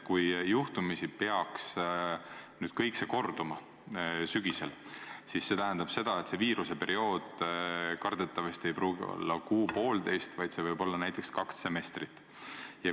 Kui sügisel peaks juhtumisi kõik korduma, siis tähendab see seda, et viiruseperiood kardetavasti ei pruugi olla kuu või poolteist, vaid näiteks kaks semestrit.